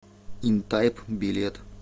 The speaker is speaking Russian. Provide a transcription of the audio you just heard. интайп билет